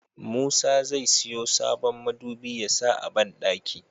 Musa zai siyo sabon midubi yasa a banɗaki